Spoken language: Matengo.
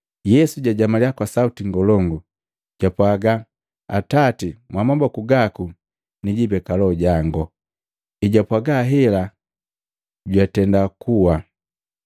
Yesu jajamaliya kwa sauti ngolongu, japwaaga, “Atati, Mwamaboku gaku nijibeka loho jango!” Ejapwaaga hela jwatendakuwa.